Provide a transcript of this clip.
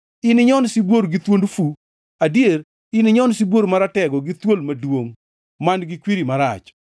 Ininyon sibuor gi thuond fu; adier ininyon sibuor maratego gi thuol maduongʼ man-gi kwiri marach.